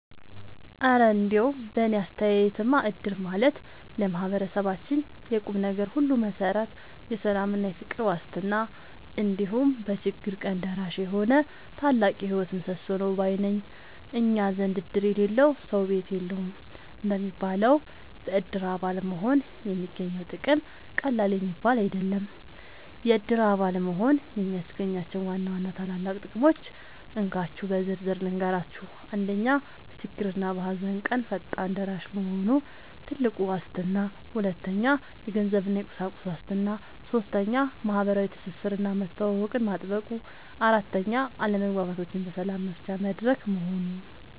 እረ እንደው በእኔ አስተያየትማ እድር ማለት ለማህበረሰባችን የቁምነገር ሁሉ መሠረት፣ የሰላምና የፍቅር ዋስትና፣ እንዲሁም በችግር ቀን ደራሽ የሆነ ታላቅ የህይወት ምሰሶ ነው ባይ ነኝ! እኛ ዘንድ "እድር የሌለው ሰው ቤት የለውም" እንደሚባለው፣ በእድር አባል መሆን የሚገኘው ጥቅም ቀላል የሚባል አይደለም። የእድር አባል መሆን የሚያስገኛቸውን ዋና ዋና ታላላቅ ጥቅሞች እንካችሁ በዝርዝር ልንገራችሁ፦ 1. በችግርና በሃዘን ቀን ፈጣን ደራሽ መሆኑ (ትልቁ ዋስትና) 2. የገንዘብና የቁሳቁስ ዋስትና 3. ማህበራዊ ትስስርና መተዋወቅን ማጥበቁ 4. አለመግባባቶችን በሰላም መፍቻ መድረክ መሆኑ